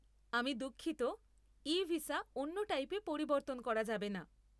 আমি দুঃখিত, e visa অন্য টাইপে পরিবর্তন করা যাবে না।